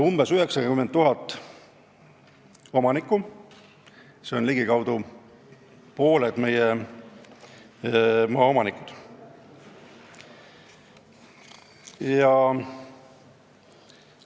Umbes 90 000 omanikku, st ligikaudu pooled meie maaomanikud on sellega seotud.